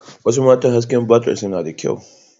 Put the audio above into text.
Wasu mata hasken fatarsu na da kyau.